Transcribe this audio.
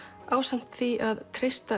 ásamt því að treysta